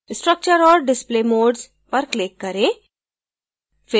structure और display modes पर click करें